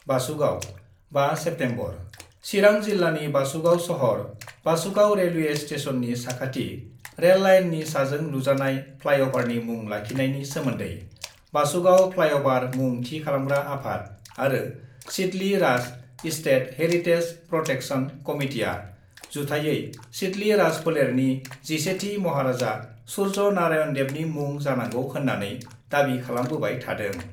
बासुगाव, 5 September : Chirang जिल्लानि बासुगाव सहर, Basugaon railway स्टेसननि साखाथि रेल लाइननि साजों लुजानाय फ्लाइअभारनि मुं लाखिनायनि सोमोन्दै बासुगाव फ्लाइअभार मुं थि खालामग्रा आफाद आरो सिदली राज-इस्टेट हेरिटेज प्रटेक्सन कमिटिआ जुथायै सिदली राज फोलेरनि 11 थि महाराजा सुर्य नारायन देवनि मुं जानांगौ होन्नानै दाबि खालामबोबाय थादों।